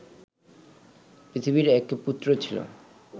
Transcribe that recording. পৃথিবীর এক পুত্র ছিল